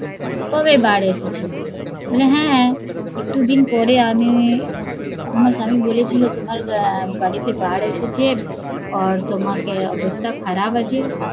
কবে বার এসেছিলো? বলে হ্যা একটু দিন পরে আমি তোমার বাড়িতে বার এসেছে তোমাকে অবস্থা খারাপ আছে